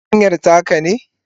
fartanyan taka ne?